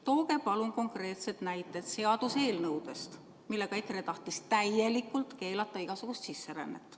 Tooge palun konkreetsed näited seaduseelnõude kohta, millega EKRE tahtis täielikult keelata igasuguse sisserände.